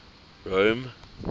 rome